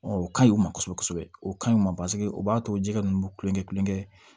o ka ɲi o ma kosɛbɛ kosɛbɛ o ka ɲi o b'a to jɛgɛ ninnu bɛ kulonkɛ kulonkɛ